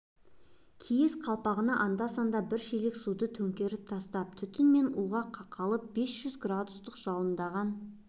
киіз қалпағына анда-санда бір шелек суды төңкеріп тастап түтін мен уға қақалып бес жүз градустық жалындаған